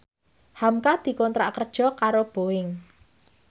hamka dikontrak kerja karo Boeing